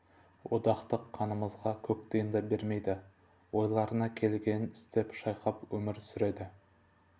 одақтық қазынаға көк тиын да бермейді ойларына келгенін істеп шайқап өмір сүреді